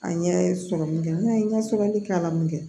A ɲɛ ye sɔrɔ min kɛ ne ka sɛbɛnnikɛla mun kɛ